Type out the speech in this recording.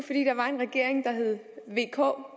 vk